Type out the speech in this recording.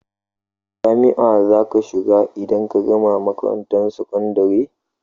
Jami'a za ka shiga idan ka gama makarantar sakandare?